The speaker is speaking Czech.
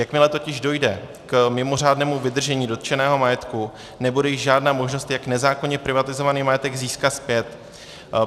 Jakmile totiž dojde k mimořádnému vydržení dotčeného majetku, nebude již žádná možnost, jak nezákonně privatizovaný majetek získat zpět.